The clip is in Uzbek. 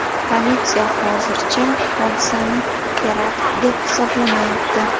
Politsiya hozircha hodisani terakt deb hisoblamayapti.